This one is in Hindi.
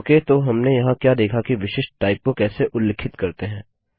औके तो हमने यहाँ क्या देखा कि विशिष्ट टाइप को कैसे उल्लिखित करते हैं